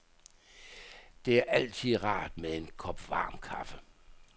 Det er altid rart med en kop varm kaffe.